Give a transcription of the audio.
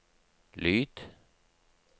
lyd